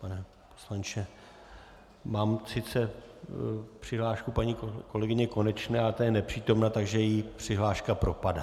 Pane poslanče, mám sice přihlášku paní kolegyně Konečné, ale ta je nepřítomná, takže její přihláška propadá.